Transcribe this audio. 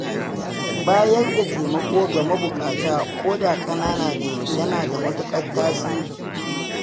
Bayar da taimako ga mabuƙata ko da ƙanana ne, yana da matuƙar tasiri.